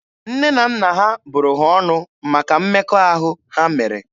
Nne na nna ha bụrụ ha ọnụ maka mmekọahụ ha mere.